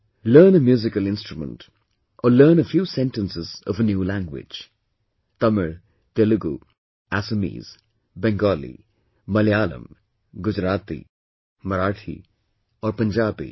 Learn a musical instrument or learn a few sentences of a new language, Tamil, Telugu, Assamese, Bengali, Malayalam, Gujarati, Marathi or Punjabi